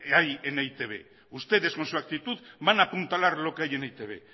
hay en e i te be ustedes con su actitud van a apuntalar lo que hay en e i te be